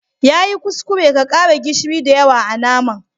Ya yi kuskure ka kara gishiri da yawa a'naman.